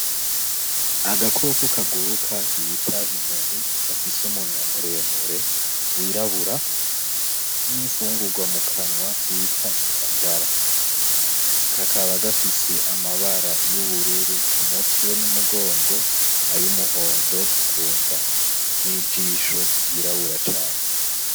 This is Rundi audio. Aga koko kaguruka bita inyoni gafise umunwa muremure w'irabura n'infungurwa mu kanwa bita indagara kakaba gafise amabara y'ubururu umutwe n'umugongo ayu muhondo kunda n'ijisho ry'irabura cane.